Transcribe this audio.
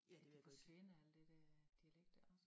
Det ved at gå i glemme alt de dér dialekter